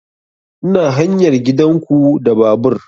Ina hanyar gidan ku da babur